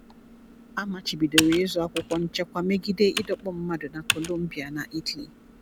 A machibidoro ịzụ akwụkwọ nchekwa megide ịdọkpụ mmadụ na Colombia na Italy.